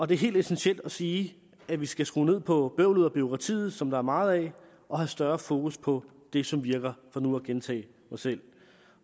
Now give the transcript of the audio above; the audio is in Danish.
det er helt essentielt at sige at vi skal skrue ned på bøvlet og bureaukratiet som der er meget af og have større fokus på det som virker for nu at gentage mig selv